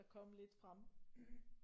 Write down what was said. Der kom lidt frem